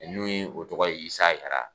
N'o ye o tɔgɔ ye Isa Jara.